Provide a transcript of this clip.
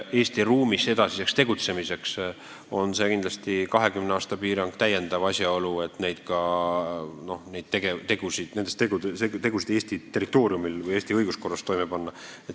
Eesti ruumis edasiseks tegutsemiseks võiks see 20 aasta piirang olla pelutava iseloomuga, täiendav asjaolu, mis paneb mõtlema, kas ikka maksab neid tegusid Eesti territooriumil, kus kehtib Eesti õiguskord, toime panna.